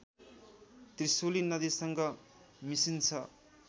त्रिशुली नदीसँग मिसिन्छ